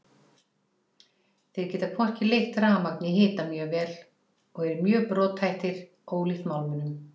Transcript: Þeir geta hvorki leitt rafmagn né hita mjög vel og eru mjög brothættir ólíkt málmunum.